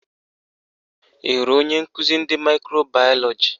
Ị hụrụ onye nkụzi ndị maịkro bayọlọji?